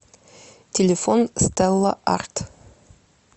телефон стелла арт